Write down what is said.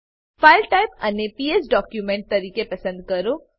file type ને PS document તરીકે પસંદ કરો